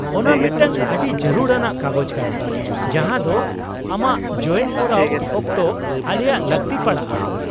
ᱚᱱᱟ ᱢᱤᱫᱴᱟᱝ ᱟᱹᱰᱤ ᱡᱟᱹᱨᱩᱲ ᱟᱱᱟᱜ ᱠᱟᱜᱚᱡᱽ ᱠᱟᱱᱟ ᱡᱟᱦᱟᱸ ᱫᱚ ᱟᱢᱟᱜ ᱡᱚᱭᱮᱱ ᱠᱚᱨᱟᱣ ᱚᱠᱛᱚ ᱟᱞᱮᱭᱟᱜ ᱞᱟᱹᱠᱛᱤ ᱯᱟᱲᱟᱜᱼᱟ ᱾